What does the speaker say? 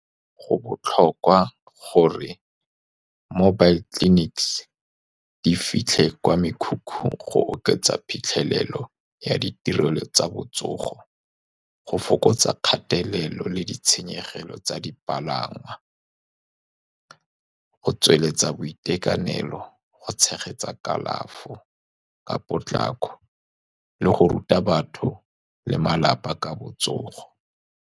Go botlhokwa gore mobile clinics di fitlhe kwa mekhukhung go oketsa phitlhelelo ya ditirelo tsa botsogo, go fokotsa kgatelelo le ditshenyegelo tsa dipalangwa, go tsweletsa boitekanelo, go tshegetsa kalafo ka potlako, le go ruta batho le malapa ka botsogo.